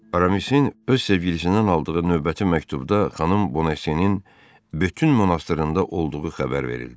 Aramisin öz sevgilisindən aldığı növbəti məktubda xanım Bonasyenin bütün monastırında olduğu xəbər verildi.